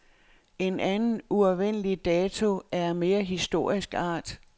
En anden, uafvendelig dato er af mere historisk art.